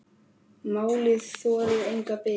Málið þolir enga bið.